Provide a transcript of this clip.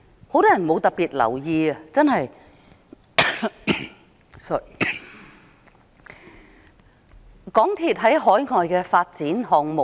很多人沒有特別留意港鐵公司在海外的發展項目。